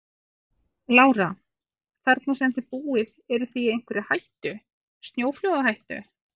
Lára: Þarna sem að þið búið eruð þið í einhverri hættu, snjóflóðahættu?